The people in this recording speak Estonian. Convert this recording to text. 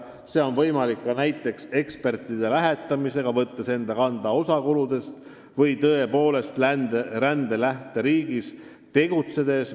See on võimalik ka näiteks ekspertide lähetamisega, võttes enda kanda osa kuludest, või tõepoolest rände lähteriigis tegutsedes.